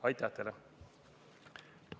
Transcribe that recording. Aitäh teile!